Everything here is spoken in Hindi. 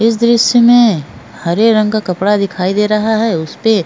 इस दृश्य में हरे रंग का कपड़ा दिखाई दे रहा है उस पे --